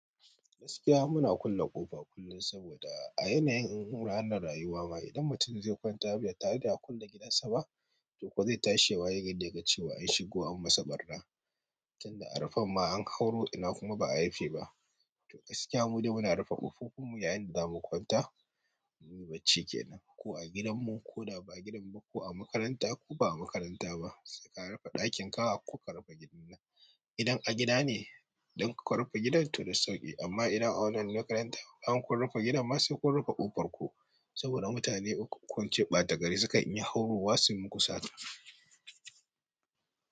Gaskiya muna kulle ƙofa kullum saboda a yanayin in hura anarayuwa ma idan mutum zai kwanta be tare da ya kulle gidansa ba to kuwa zai tashi ya waye gari da yaga cewa an shigo an masa ɓarna. Tunda a rufan ma an hauro ina kuma ba a rufe ba. To gaskiya mu dai muna rufe ƙofofin mu yayin da zamu kwanta. Yin bacci kenan ko a gidan mu ko da ba gidan mu ko a makaranta ko ba a makaranta ba. Saika rufe ɗakin ka a koka rufe gidan nan. Idan a gida ne don ku rufe gidan to da sauƙi amma idan a wannan makaranta an ku rufe gidan masu ku rufe ƙofar ku saboda mutane ukwu ko ince ɓatagari suka iya haurawa sun muku sata.